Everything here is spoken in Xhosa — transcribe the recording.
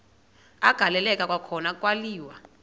agaleleka kwakhona kwaliwa